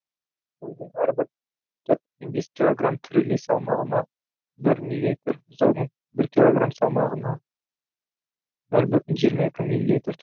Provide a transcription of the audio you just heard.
қойдың әрбір төрт бүтін бес килограмм тірілей салмағына бір милилитр бұзаудың бір килограмм салмағына нөл бүтін жиырма екі милилитр